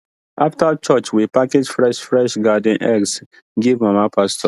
after church we package fresh fresh garden eggs give mama pastor